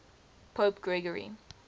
pope gregory